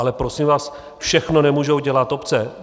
Ale prosím vás, všechno nemůžou dělat obce.